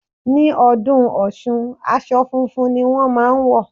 Ní ọdún Ọ̀ṣun, aṣọ funfun ni wón máa ń wọ̀.